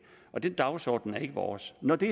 den dagsorden er ikke vores når det